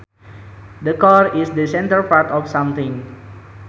The core is the centre part of something